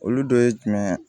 Olu dɔ ye jumɛn ye